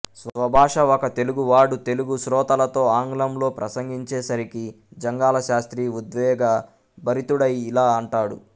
స్వభాష ఒక తెలుగువాడు తెలుగు శ్రోతలతో ఆంగ్లంలో ప్రసంగించేసరికి జంఘాలశాస్త్రి ఉద్వేగభరితుడై ఇలా అంటాడు